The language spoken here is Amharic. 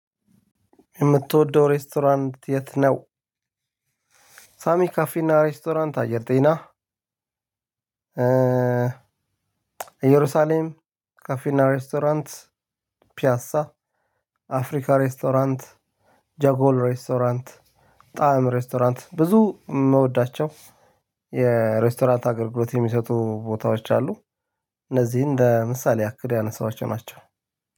የምትወደው ሬስቶራንት የት ነው? ሳሚ ካፌና ሬስቶራንት አየር ጤና እየሩሳሌም ካፌና ሬስቶራንት ፒያሳ አፍሪካ ሬስቶራንት ጃጎል ሬስቶራንት ጣዕም ሬስቶራንት ብዙ የምወዳቸው የሬስቶራንት አገልግሎት የሚሰጡ ቦታዎች አሉ። እነዚህ ለምሳሌ ያክል ያነሳቸው ናቸው።